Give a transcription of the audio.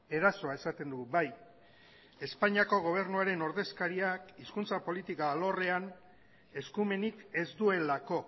erasoa esaten dugu bai espainiako gobernuaren ordezkariak hizkuntza politika alorrean eskumenik ez duelako